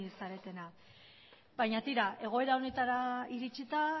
zaretenak baina tira egoera honetara iritsita